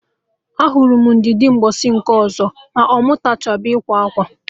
Ajụrụ m Ndidi mgbọsị nke ọzọ ma ọ mụtachago ịkwa akwa?